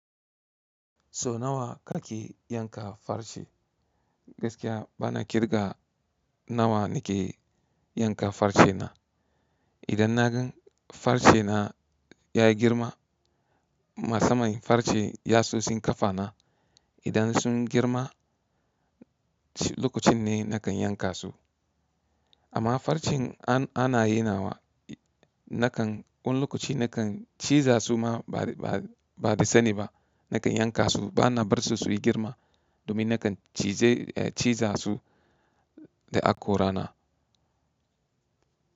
So nawa ka ke yanka farce? Gaskiya bana kirga nawa na ke yanka farce na. Idan na gan farce na ya yi girma, masa man farce ya sosin kafa na. Idan sun girma, lokacin ne na kan yanka su. Amma farcen ana yinawa na kan, wani lokaci na kan ciza su ma ba, ba, ba da sani ba. Na kan yanka su bana bar su su yi girma domin na kan cize, ciza su da akora na.